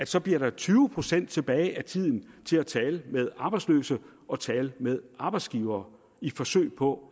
så bliver tyve procent tilbage af tiden til at tale med arbejdsløse og tale med arbejdsgivere i forsøget på